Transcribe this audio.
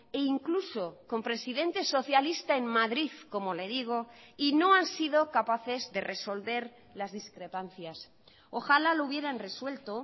e incluso con presidentes socialista en madrid como le digo y no han sido capaces de resolver las discrepancias ojalá lo hubieran resuelto